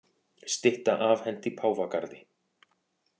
Stytta afhent í Páfagarði